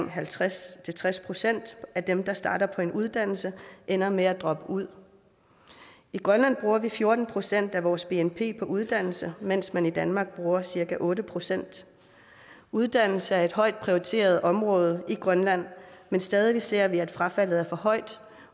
halvtreds til tres procent af dem der starter på en uddannelse ender med at droppe ud i grønland bruger vi fjorten procent af vores bnp på uddannelse mens man i danmark bruger cirka otte procent uddannelse er et højt prioriteret område i grønland men stadig ser vi at frafaldet er for højt